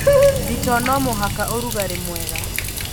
Thitoo no mũhaka ũrugarĩ mwega.